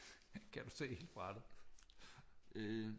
Kan du se hele brættet